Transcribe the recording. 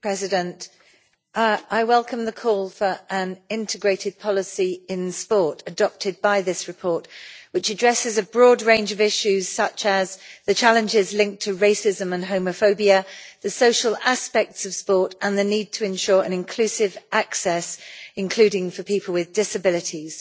Mr President, I welcome the call for an integrated policy in sport adopted by this report, which addresses a broad range of issues, such as the challenges linked to racism and homophobia, the social aspects of sport and the need to ensure inclusive access, including for people with disabilities,